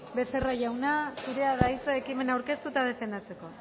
becerra jauna zurea da hitza ekimena aurkeztu eta defendatzeko